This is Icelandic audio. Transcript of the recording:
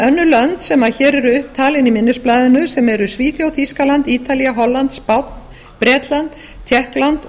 en önnur lönd sem hér eru upp talin í minnisblaðinu sem eru svíþjóð þýskaland ítalía holland spánn bretland tékkland og